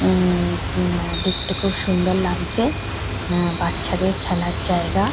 উমমম দেখতে খুব সুন্দর লাগজে বাচ্চাদের খেলার জায়গা--